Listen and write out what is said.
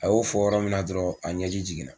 A y'o fɔ yɔrɔ min na dɔrɔn a ɲɛji jiginna.